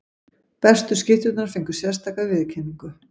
Bestu skytturnar fengu sérstaka viðurkenningu.